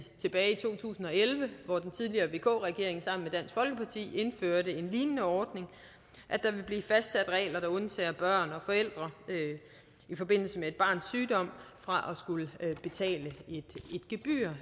to tusind og elleve hvor den tidligere vk regering sammen med folkeparti indførte en lignende ordning vil blive fastsat regler der undtager børn og forældre i forbindelse med et barns sygdom fra at skulle betale et gebyr